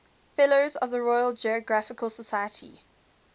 fellows of the royal geographical society